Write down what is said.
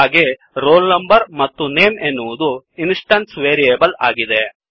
ಹಾಗೇ roll number ಮತ್ತು name ಎನ್ನುವದು ಇನ್ಸ್ಟೆನ್ಸ್ ವೇರಿಯೇಬಲ್ ಆಗಿದೆ